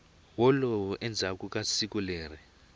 wolow endzhaku ka siku leri